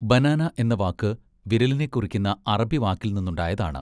Banana എന്ന വാക്ക് വിരലിനെക്കുറിക്കുന്ന അറബിവാക്കിൽനിന്നുണ്ടായതാണ്.